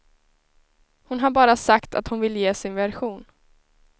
Hon har bara sagt att hon vill ge sin version.